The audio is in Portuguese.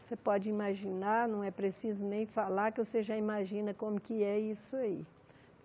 Você pode imaginar, não é preciso nem falar que você já imagina como que é isso aí.